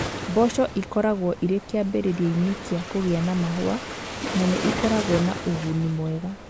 Mboco ikoragwo irĩ kĩambĩrĩria-ini͂ ki͂a kũgĩa na mahũa, na nĩ ikoragwo na u͂guni mwega.